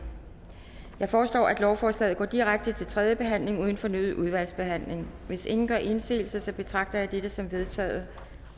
jeg foreslår at lovforslaget går direkte til tredje behandling uden fornyet udvalgsbehandling hvis ingen gør indsigelse betragter jeg dette som vedtaget